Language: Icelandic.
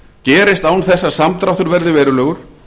gerist án þess að samdráttur verði verulegur